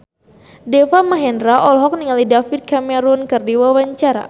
Deva Mahendra olohok ningali David Cameron keur diwawancara